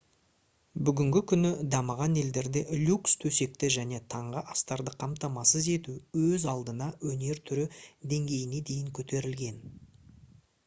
бүгінгі күні дамыған елдерде люкс төсекті және таңғы астарды қамтамасыз ету өз алдына өнер түрі деңгейіне дейін көтерілген